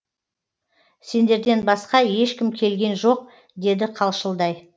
сендерден басқа ешкім келген жоқ деді қалшылдай